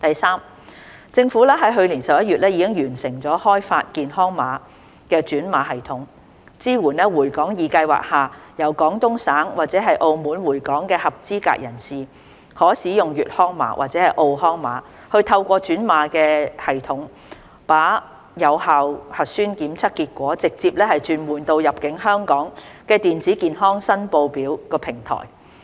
三政府於去年11月已完成開發健康碼轉碼系統，支援在"回港易"計劃下由廣東省或澳門回港的合資格人士，可使用"粵康碼"或"澳康碼"透過轉碼系統，把有效核酸檢測結果直接轉換到入境香港的電子健康申報表平台。